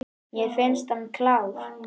Mér finnst hann klár.